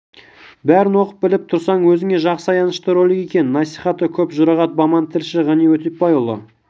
бәрін оқып біліп тұрсаң өзіңе жақсы аянышты ролик екен насихаты көп жұрағат баман тілші ғани өтепбайұлы